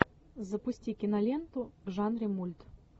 запусти киноленту в жанре мульт